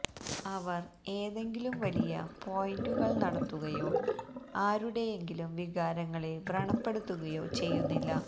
അവർ ഏതെങ്കിലും വലിയ പോയിന്റുകൾ നടത്തുകയോ ആരുടെയെങ്കിലും വികാരങ്ങളെ വ്രണപ്പെടുത്തുകയോ ചെയ്യുന്നില്ല